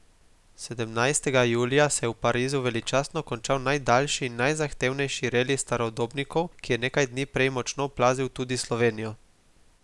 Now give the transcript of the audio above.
Sedemnajstega julija se je v Parizu veličastno končal najdaljši in najzahtevnejši reli starodobnikov, ki je nekaj dni prej močno oplazil tudi Slovenijo.